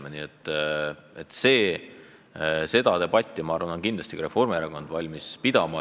Seda debatti, kas see loetelu on lõplik või mitte, on kindlasti ka Reformierakond valmis pidama.